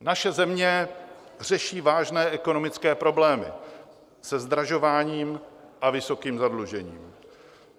Naše země řeší vážné ekonomické problémy se zdražováním a vysokým zadlužováním.